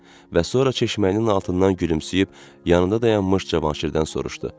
Və sonra çeşməyin altından gülümsəyib yanında dayanmış Cavanşirdən soruşdu.